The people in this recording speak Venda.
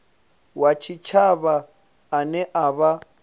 wa tshitshavha ane a vha